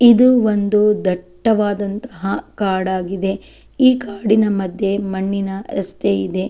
ಇದು ಒಂದು ದಟ್ಟವಾದಂತಹ ಕಾಡು ಆಗಿದೆ ಈ ಕಾಡಿನ ಮಧ್ಯೆ ಮಣ್ಣಿನ ರಸ್ತೆ ಇದೆ.